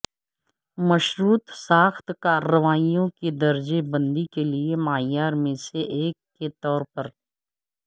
مشروط ساخت کارروائیوں کی درجہ بندی کے لئے معیار میں سے ایک کے طور پر